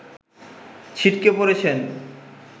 ছিটকে পড়েছেন